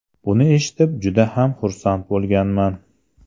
Buni eshitib, juda ham xursand bo‘lganman.